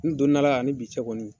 N donn'a la ani bi cɛ kɔni